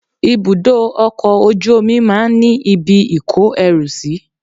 Ibùdó ọkọ̀ ojú omi máa ń ní ibi ìkó ẹrù sí.